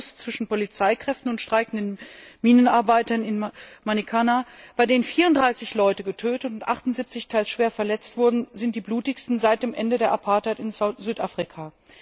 6. August zwischen Polizeikräften und streikenden Minenarbeitern in Marikana, bei denen 34 Personen getötet und 78 teils schwer verletzt wurden, sind die blutigsten seit dem Ende der Apartheid in Südafrika.